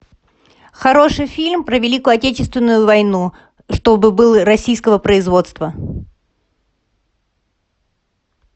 хороший фильм про великую отечественную войну чтобы был российского производства